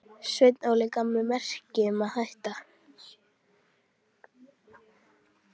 Sveinn Óli gaf mér merki um að hætta.